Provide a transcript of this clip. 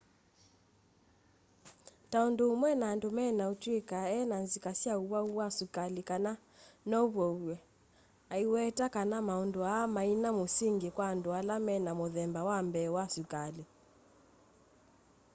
ta undu umwe na andu mena utuika e na nzika sya uwau wa sukali kana nouvow'e aiweta kana maundu aa maina musingi kwa andu ala mena muthemba wa mbee wa sukali